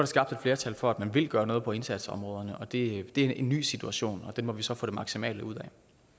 skabt et flertal for at man vil gøre noget på indsatsområderne og det er en ny situation og den må vi så få det maksimale ud